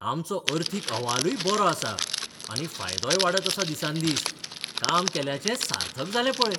आमचो अर्थीक अहवालूय बरो आसा, आनी फायदोय वाडत आसा दिसान दीस. काम केल्ल्याचें सार्थक जालें पळय.